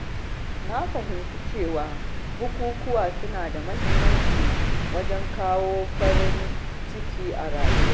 Na fahimci cewa bukukuwa suna da muhimmanci wajen kawo farin ciki a rayuwa.